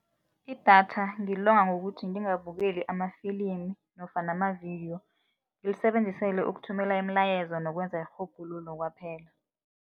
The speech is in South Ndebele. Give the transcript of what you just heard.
Idatha ngilonga ngokuthi ngingabukeli amafilimi nofana mavidiyo, ngilisebenzisela ukuthumela imilayezo nokwenza irhubhululo kwaphela.